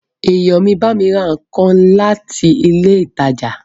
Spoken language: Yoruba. Èèyàn mi bámi ra nǹkan láti ilé ìtajà